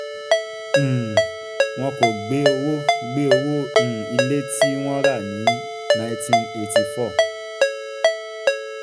um wọn kò gbé owó gbé um ilé tí um wọ́n rà ní nineteen eighty four